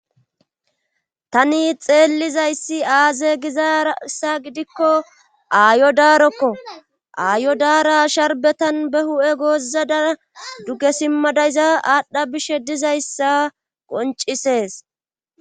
tani xeellizayssi aaze gizaarassa gidikko aayo daarokko aayo daara sharbetan be hu7e goozadaa duge simmadayza aadhdha bishe dizayssa qoncisees